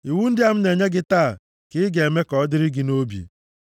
Iwu ndị a m na-enye gị taa ka ị ga-eme ka ọ dịrị gị nʼobi.